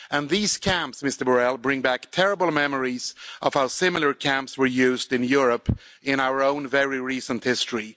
These camps bring back terrible memories of how similar camps were used in Europe in our own very recent history.